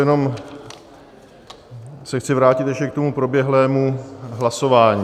Jenom se chci vrátit ještě k tomu proběhlému hlasování.